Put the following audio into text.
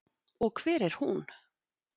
Og hver er hún?